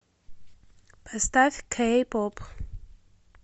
поставь кэй поп